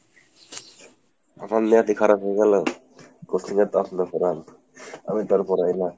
আমার নিয়তই খারাপ হয়ে গেলো, coaching এ তো আপনি পড়ান, আমিতো আর পড়াই না।